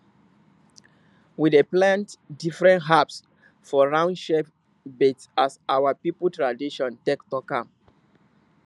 we dey plant different herbs for round shape beds as our people tradition take talk am